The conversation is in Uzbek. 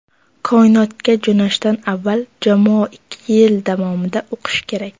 Koinotga jo‘nashdan avval jamoa ikki yil davomida o‘qishi kerak.